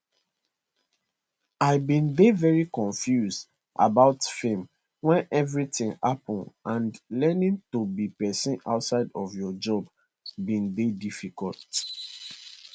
i bin dey very confused about fame when everything happen and learning to be person outside of your job bin dey difficult